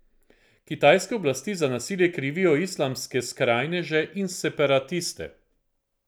Kitajske oblasti za nasilje krivijo islamske skrajneže in separatiste.